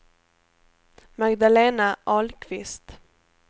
Magdalena Ahlqvist